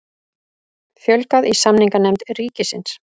Fjölgað í samninganefnd ríkisins